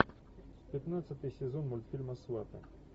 пятнадцатый сезон мультфильма сваты